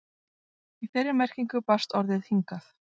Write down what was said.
Í þeirri merkingu barst orðið hingað.